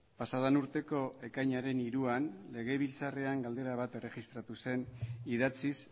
pasa den urteko ekainaren hiruan legebiltzarrak galdera bat erregistratu zen idatziz